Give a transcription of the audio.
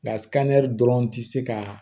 dɔrɔn tɛ se ka